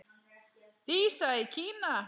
Dísa í Kína.